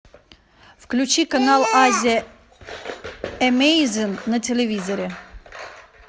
включи канал азия эмейзин на телевизоре